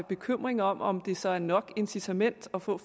bekymring om om det så er nok incitament at få